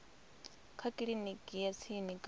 kha kiliniki ya tsini kana